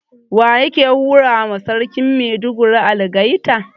Waye yake hurawa Sarkin Maiduguri algaita?